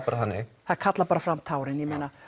bara þannig það kallar bara fram tárin